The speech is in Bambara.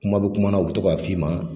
Kuma bɛ kuma na u bɛ to ka f'i ma.